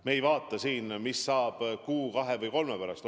Me ei vaata siin, mis saab kuu, kahe või kolme pärast.